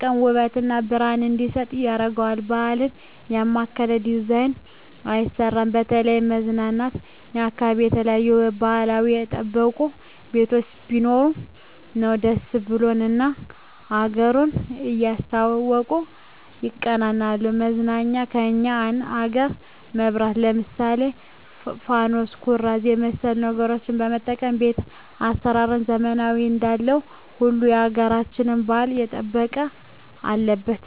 ቀን ውበት እና ብረሀን እንዲሰጥ ያረገዋል ባህል ያማከለ ዲዛይን አይሰራም በተለይም መዝናኛ አካባቢ የተለያዩ ባህልችን የጠበቁ ቤቶች ቢሰሩ ሰው ደስ ብሎት እና አገሩን እያስታወሱ ይቀናናል መዝናኛ የኛን አገር መብራት ለምሳሌ ፋኑስ ኩራዝ የመሠሉ ነገሮች መጠቀም ቤት አሰራራችንን ዘመናዊ እንዳለው ሁሉ ያገራቸውን ባህል የጠበቀ አለበት